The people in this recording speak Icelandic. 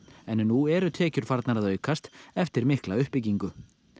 en nú eru tekjur farnar að aukast eftir mikla uppbyggingu